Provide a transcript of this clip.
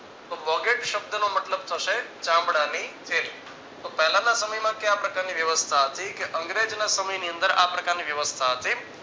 તો bougette શબ્દનો મતલબ થશે ચામડાની થેલી તો પહેલાના સમયમાં કેવા પ્રકારની વ્યવસ્થા હતી કે અંગ્રેજના સમયની અંદર આ પ્રકારની વ્યવસ્થા હતી.